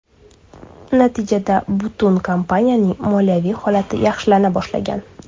Natijada butun kompaniyaning moliyaviy holati yaxshilana boshlagan.